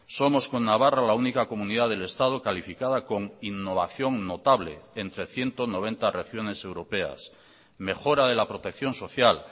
somos con navarra la única comunidad del estado calificada con innovación notable entre ciento noventa regiones europeas mejora de la protección social